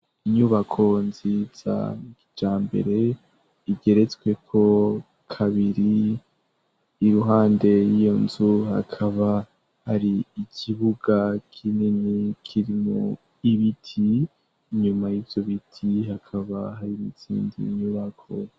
Inyubako nziza ya kijambere igeretswe ko kabiri ,iruhande y'iyo nzu hakaba hari ikibuga kinini kirimwo ibiti nyuma y'ivyo biti hakaba hari mizindi nyubako.